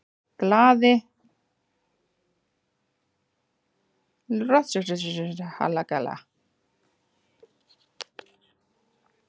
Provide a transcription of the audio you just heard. GLAÐI GULRÓTARSÖNGURINNFANDALAGGAHOJ